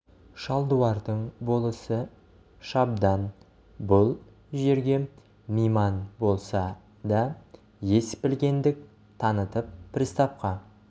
шалдуардың болысы шабдан бұл жерге мейман болса да ес білгендік танытып приставқа